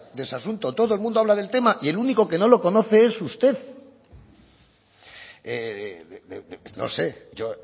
de ese asunto todo el mundo habla del tema y el único que no lo conoce es usted no sé yo